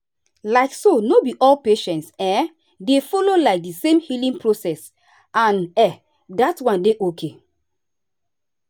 like so no be all patients[um]dey follow the same healing process and um dat one dey okay.